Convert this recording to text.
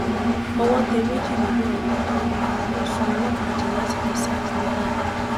owó tẹ méjì nínú àwọn tó àwọn tó sún ọlọpàá jẹ lásìkò sars níìbàdàn